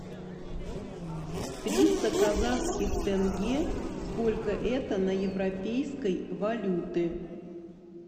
триста казахских тенге сколько это на европейской валюты